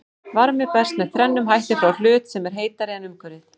Varmi berst með þrennum hætti frá hlut sem er heitari en umhverfið.